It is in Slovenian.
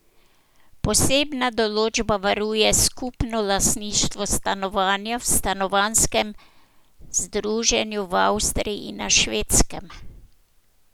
Posebna določba varuje skupno lastništvo stanovanja v stanovanjskem združenju v Avstriji in na Švedskem.